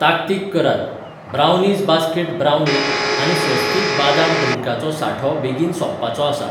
ताकतीक करात, brownies basket brownie आनी स्वस्तिक बादाम ड्रिंका चो सांठो बेगीन सोंपपाचो आसा.